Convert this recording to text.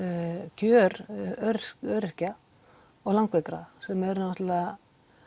kjör öryrkja og langveikra sem eru náttúrulega